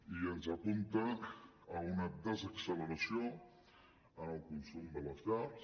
i ens apunta a una desacceleració en el consum de les llars